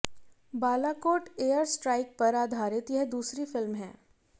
Balakot air strike पर आधारित यह दूसरी फिल्म है